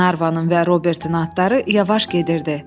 Glenarvanın və Robertin atları yavaş gedirdi.